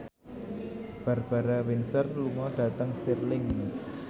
Barbara Windsor lunga dhateng Stirling